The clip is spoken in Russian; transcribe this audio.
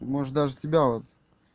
может даже тебя вот